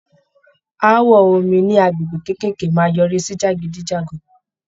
Áàwọ̀ omi ní agbègbè kékèké máa yọrí sí jàgídíjàgan.